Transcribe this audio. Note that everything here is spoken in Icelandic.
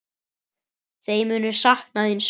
Þeir munu sakna þín sárt.